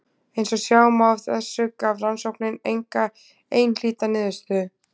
Eins og sjá má af þessu gaf rannsóknin enga einhlíta niðurstöðu.